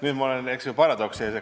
Nüüd ma olen, eks ju, paradoksi ees.